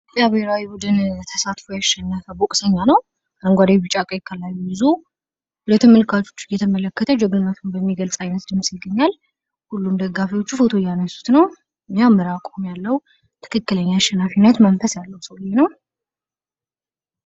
የብሔራዊ ቡድን ተሳትፎ ያሸነፈ ቦክሰኛ ነው ። አረንጓዴ ፣ ቢጫ ፣ ቀይ ቀለሙን ይዞ ለተመልካቾች እየተመለከተ መሆኑን በሚገልፅ ዓይነት ድምፅ ይገኛል. ሁሉም ደጋፊዎች ፎቶ እያነሱት ነው።. ትክክለኛ አሸናፊነት መንፈስ ያለው ሰውዬ ነው።